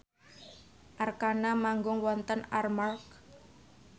Arkarna manggung wonten Armargh